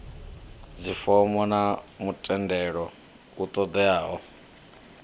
dzifomo na mutendelo u ṱoḓeaho